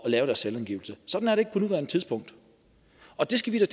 at lave deres selvangivelse sådan er det ikke på nuværende tidspunkt og det skal vi da